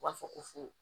U b'a fɔ ko fu